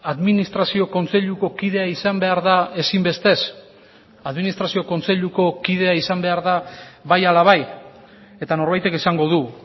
administrazio kontseiluko kidea izan behar da ezinbestez administrazio kontseiluko kidea izan behar da bai ala bai eta norbaitek esango du